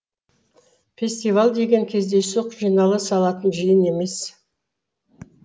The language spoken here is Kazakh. фестиваль деген кездейсоқ жинала салатын жиын емес